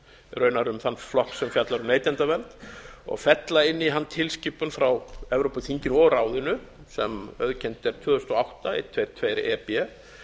raunar um þann flokk sem fjallar um neytendavernd og fella inn í hann tilskipun frá evrópuþinginu og ráðinu sem auðkennd er tvö þúsund og átta hundrað tuttugu og tvö e b